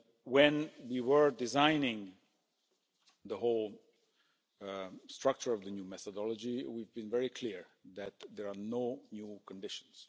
When we were designing the whole structure of the new methodology, we were very clear that there are no new conditions.